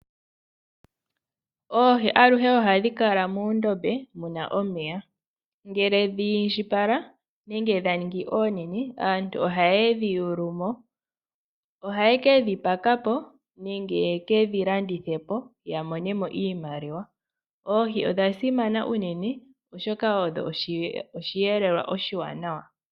Oohi aluhe ohadhi kala moondombe muna omeya, ngele dhi indjipala nenge dha ningi oonene aantu ohaye dhi yulu mo. Ohaye ke dhi paka po nenge ye kedhi landithe po ya mone mo iimaliwa. Oohi odha simana uunene, oshoka odho oshiyelelwa oshiwanawa.